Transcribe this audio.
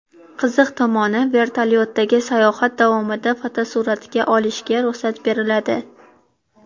Qiziq tomoni, vertolyotdagi sayohat davomida fotosuratga olishga ruxsat beriladi.